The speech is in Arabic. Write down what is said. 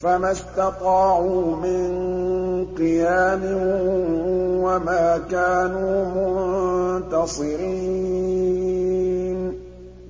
فَمَا اسْتَطَاعُوا مِن قِيَامٍ وَمَا كَانُوا مُنتَصِرِينَ